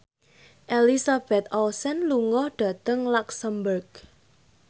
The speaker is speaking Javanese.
Elizabeth Olsen lunga dhateng luxemburg